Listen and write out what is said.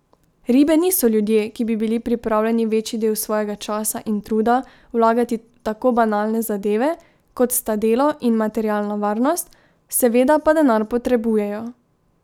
Ribe niso ljudje, ki bi bili pripravljeni večji del svojega časa in truda vlagati v tako banalne zadeve, kot sta delo in materialna varnost, seveda pa denar potrebujejo.